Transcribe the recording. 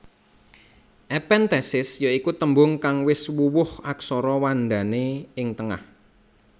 Ephenthesis ya iku tembung kang wis wuwuh aksara wandane ing tengah